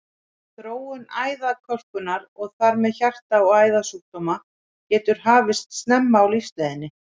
Þróun æðakölkunar, og þar með hjarta- og æðasjúkdóma, getur hafist snemma á lífsleiðinni.